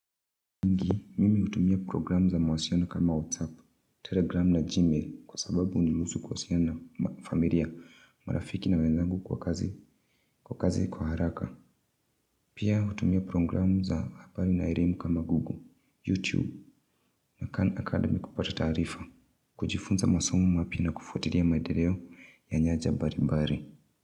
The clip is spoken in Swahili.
Ndio mimi hutumia programu za mawasiliano kama WhatsApp, Telegram na Gmail kwa sababu huniruhusu kuwasiliana na familia marafiki na wenzangu kwa kazi kwa haraka. Pia hutumia programu za habari na elimu kama Google, YouTube na Khan Academy kupata taarifa. Kujifunza masomo mapya na kufwatilia maendeleo ya nyanja mbali mbali.